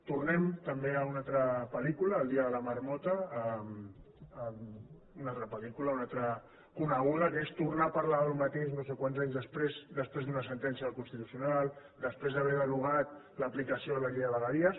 tornem també a una altra pel·lícula el día de la marmota una altra pel·lícula una altra coneguda que és tornar a parlar del mateix no sé quants anys després d’una sentència del constitucional després d’haver derogat l’aplicació de la llei de vegueries